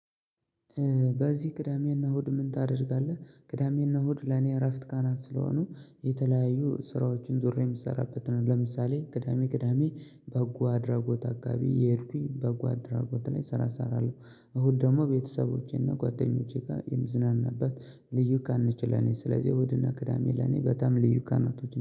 በዚህ ቅዳሜና እሁድ ምን ታደርጋለህ? ቅዳሜና እሁድ ለኔ እረፍት ቀናት ስለሆኑ የተለያዩ ስራዎችን ዙሬ ምሰራበት ነው። ለምሳሌ ቅዳሜ ቅዳሜ በጎ አድራጎት አካባቢ የሄድኩኝ በጎ አድራጎት ላይ ስራ እሰራለሁ። እሁድ ደግሞ ቤተሰቦቼና ጓደኞቼ ጋር የምዝናናበት። ልዩ ቀንነች ለኔ ስለዚህ ኡሁድ እና ቅዳሜ ለኔ በጣም ልዩ ቀናቶች